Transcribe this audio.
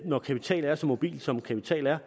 når kapital er så mobil som kapital er